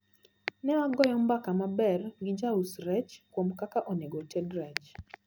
Newagoyo mbaka maber gi jaus rech kuom kaka onego oted rech.